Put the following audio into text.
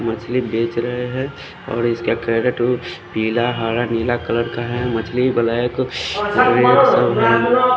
मछली बेच रहे हैं और इसका कैरेट पीला हरा नीला कलर का है मछली ब्लैक --